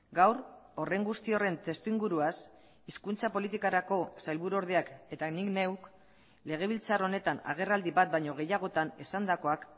gaur horren guzti horren testuinguruaz hizkuntza politikarako sailburu ordeak eta nik neuk legebiltzar honetan agerraldi bat baino gehiagotan esandakoak